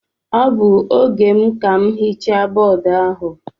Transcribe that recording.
Ọ bụ oge m ka m hichaa bọọdụ ahụ.